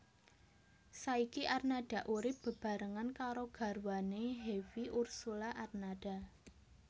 Saiki Arnada urip bebarengan karo garwane Hevie Ursulla Arnada